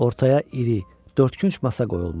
Ortaya iri, dördkünc masa qoyulmuşdu.